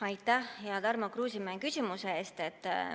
Aitäh, hea Tarmo Kruusimäe, küsimuse eest!